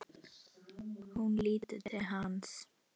Hún lítur til hans.